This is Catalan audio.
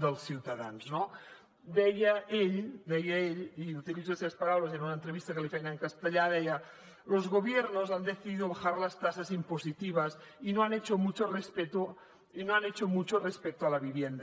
dels ciutadans no deia ell i utilitzo les seves paraules en una entrevista que li feien en castellà deia los gobiernos han decidido bajar las tasas impositivas y no han hecho mucho respecto a la vivienda